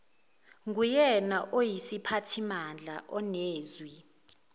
nguyena oyisiphathimandla onezwi